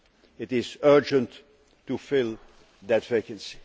It is urgent to fill that vacancy.